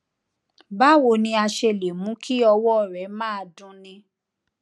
báwo ni a ṣe lè mú kí ọwó rẹ máa dunni